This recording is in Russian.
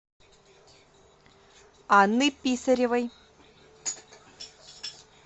анны писаревой